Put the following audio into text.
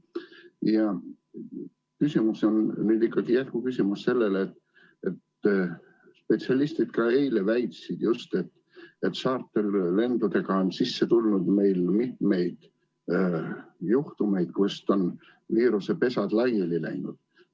Mu küsimus on jätkuküsimus selle kohta, et spetsialistid eile väitsid, et tšarterlendudega on meil sisse tulnud mitmeid juhtumeid, kust on viirusepesad laiali läinud.